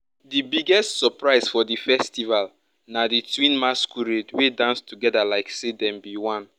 the biggest surprise for the festival na the twin masquerade wey dance together like say dem be one.